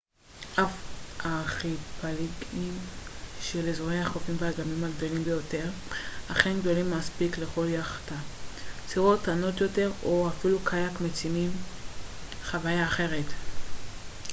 אף שארכיפלגים של אזורי החופים והאגמים הגדולים ביותר אכן גדולים מספיק לכל יאכטה סירות קטנות יותר או אפילו קיאק מציעים חוויה אחרת